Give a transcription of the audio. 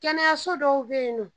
Kɛnɛyaso dɔw be yen nɔn